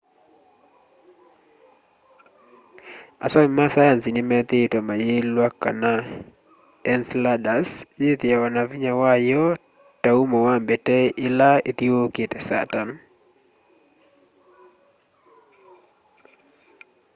asomi ma saenzi nimethiitwe mayiliwa kana ence ladus yithiawa na vinya wayo ta umo wa mbete ya ia ila yithiuukite saturn